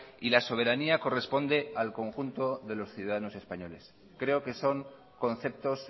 y la soberanía corresponde al conjunto de los ciudadanos españoles creo que son conceptos